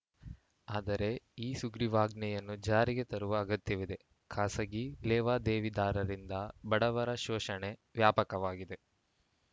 ಆದರೆ ಈ ಸುಗ್ರೀವಾಜ್ಞೆಯನ್ನು ಜಾರಿಗೆ ತರುವ ಅಗತ್ಯವಿದೆ ಖಾಸಗಿ ಲೇವಾದೇವಿದಾರರಿಂದ ಬಡವರ ಶೋಷಣೆ ವ್ಯಾಪಕವಾಗಿದೆ